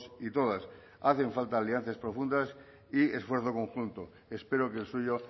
y todas hacen falta alianzas profundas y esfuerzo conjunto espero que el suyo